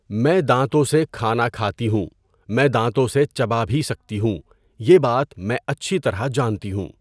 میں دانتوں سے کھانا کھاتی ہوں میں دانتوں سے چبا بھی سکتی ہوں یہ بات میں اچھی طرح جانتی ہوں.